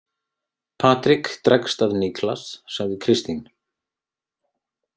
Patrik dregst að Niklas, sagði Kristín.